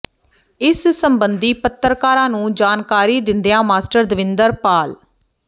ਇਸ ਸਬੰਧੀ ਪੱਤਰਕਾਰਾਂ ਨੂੰ ਜਾਣਕਾਰੀ ਦਿੰਦਿਆਂ ਮਾਸਟਰ ਦਵਿੰਦਰ ਪਾਲ ਿਢ